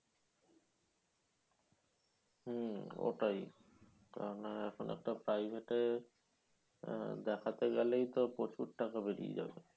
হম ওটাই কেন না? এখন আর তো private এ আহ দেখতে গেলেই তো প্রচুর টাকা বেরিয়ে যাবে।